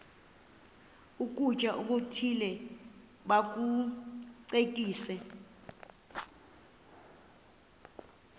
ukutya okuthile bakucekise